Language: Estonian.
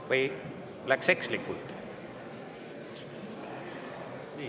Või läks ekslikult?